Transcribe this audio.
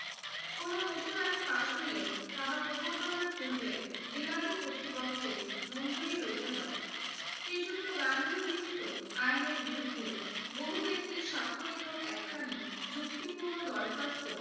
কোনো নতুন আইন পাশ হলে তাহা প্রবর্তনের পূর্বে বিলাতি কর্তৃপক্ষের মঞ্জুরি লইতে হয়। শ্রীযুক্ত গান্ধী উল্লিখিত আইনের বিরুদ্ধে বহুব্যক্তির স্বাক্ষরিত একখানি যুক্তিপূর্ণ দরখাস্ত